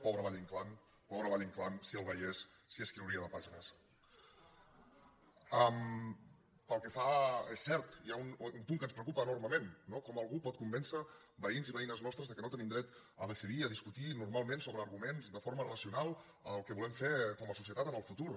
pobre valle·inclán pobre valle·inclán si el veiés si n’escriuria de pàgines és cert hi ha un punt que ens preocupa enormement no com algú pot convèncer veïns i veïnes nostres que no tenim dret a decidir a discutir normalment sobre arguments de forma racional el que volem fer com a societat en el futur